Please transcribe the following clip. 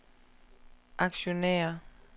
aktionærer